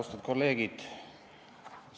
Austatud kolleegid!